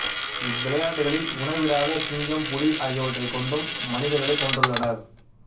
இவ்விளையாட்டுகளில் உணவிடாத சிங்கம் புலி ஆகியவற்றைக் கொண்டும் மனிதர்களைக் கொன்றுள்ளனர்